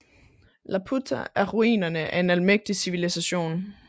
Laputa er ruinerne af en almægtig civilisation